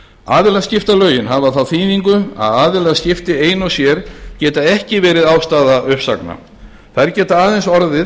aðilaskiptalögin hafa þá þýðingu að aðilaskipti ein og sér geta ekki verið ástæða uppsagna þær geta aðeins orðið